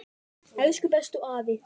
Elsku bestu afi.